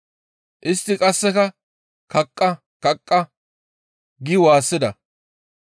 Istti qasseka, «Kaqqa! Kaqqa!» gi waassida.